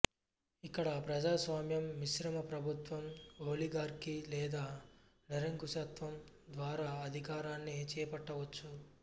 ఇక్కడ ప్రజాస్వామ్యం మిశ్రమ ప్రభుత్వం ఓలిగార్కీ లేదా నిరంకుశత్వం ద్వారా అధికారాన్ని చేపట్టవచ్చు